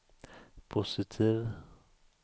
positiv